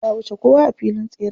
Ta wuce kowa a filin tseren.